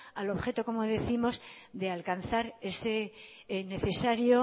al objeto como décimos de alcanzar ese necesario